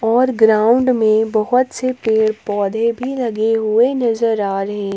और ग्राऊंड में बहुत से पेड पौधे भी लगे हुए नजर आ रहे--